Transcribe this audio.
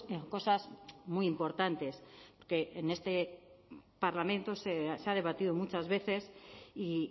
en cosas muy importantes que en este parlamento se ha debatido muchas veces y